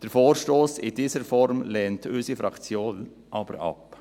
Den Vorstoss in dieser Form lehnt unsere Fraktion aber ab.